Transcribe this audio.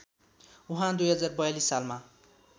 उहाँ २०४२ सालमा